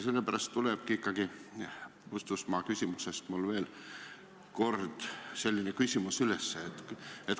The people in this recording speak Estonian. Sellepärast tekkiski mul ikkagi Puustusmaa küsimuse põhjal veel kord selline küsimus.